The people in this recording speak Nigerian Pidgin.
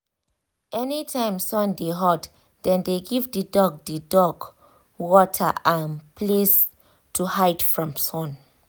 anytime sun dey hot dem dey give the dog the dog water and place to hide from sun.